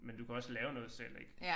Men du kan også lave noget selv ik